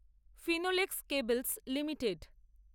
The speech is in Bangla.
Finolex cables limited